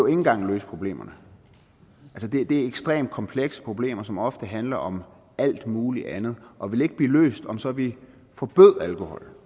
engang løse problemerne det er ekstremt komplekse problemer som ofte handler om alt muligt andet og de vil ikke blive løst om så vi forbød alkohol